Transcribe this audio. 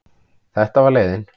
Þetta var leiðin.